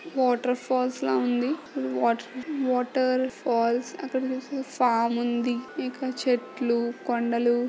water falls ల ఉంది water water falls అక్కడ చూస్తే ఫాం ఉంది ఇంకా చెట్లు కొండలు--